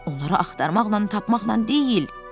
Onları axtarmaqla, tapmaqla deyil.